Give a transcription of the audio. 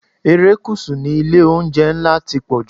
Erékùṣù ni ilé-oúnjẹ ńlá ti pọ̀jù.